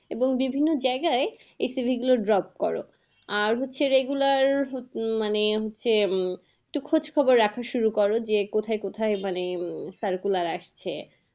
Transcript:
এখন বিভিন্ন জায়গায়, এই cv গুলো drop করো। আর হচ্ছে regular হম মানে হচ্ছে, একটু খোঁজ খবর রাখা শুরু করো যে কোথায় কোথায় মানে circular আসছে।